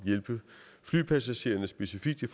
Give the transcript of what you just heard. hjælpe flypassagererne specifikt i